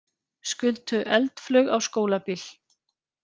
Skutu eldflaug á skólabíl